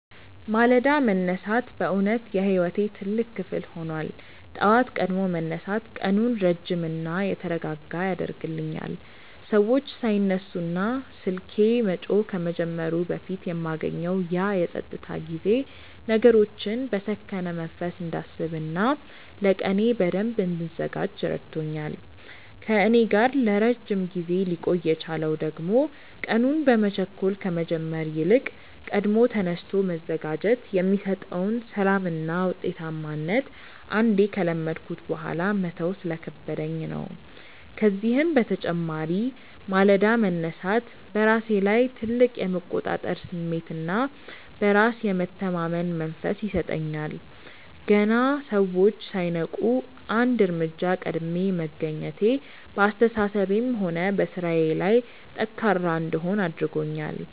ማለዳ መነሳት በእውነት የሕይወቴ ትልቅ ክፍል ሆኗል። ጠዋት ቀድሞ መነሳት ቀኑን ረጅምና የተረጋጋ ያደርግልኛል፤ ሰዎች ሳይነሱና ስልኬ መጮህ ከመጀመሩ በፊት የማገኘው ያ የፀጥታ ጊዜ ነገሮችን በሰከነ መንፈስ እንዳስብና ለቀኔ በደንብ እንድዘጋጅ ረድቶኛል። ከእኔ ጋር ለረጅም ጊዜ ሊቆይ የቻለው ደግሞ ቀኑን በመቸኮል ከመጀመር ይልቅ ቀድሞ ተነስቶ መዘጋጀት የሚሰጠውን ሰላምና ውጤታማነት አንዴ ከለመድኩት በኋላ መተው ስለከበደኝ ነው። ከዚህም በተጨማሪ ማለዳ መነሳት በራሴ ላይ ትልቅ የመቆጣጠር ስሜትና በራስ የመተማመን መንፈስ ይሰጠኛል። ገና ሰዎች ሳይነቁ አንድ እርምጃ ቀድሜ መገኘቴ በአስተሳሰቤም ሆነ በሥራዬ ላይ ጠንካራ እንድሆን አድርጎኛል፤